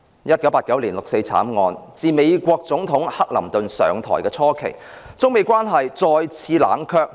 1989年六四慘案，自美國總統克林頓上台初期，中美關係再次冷卻。